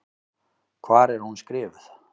Hvar er hún skrifuð?